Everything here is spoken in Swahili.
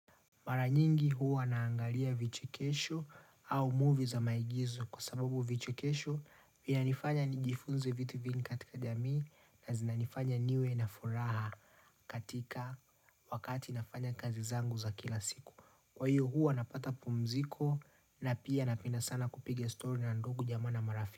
Mara nyingi huwa naangalia vichekesho au movie za maigizo kwa sababu vichekesho Vinanifanya nijifunze vitu vingi katika jamii na zinanifanya niwe na furaha katika wakati nafanya kazi zangu za kila siku. Kwa hiyo huwa napata pumziko na pia napenda sana kupiga stori na ndugu jamaa na marafiki.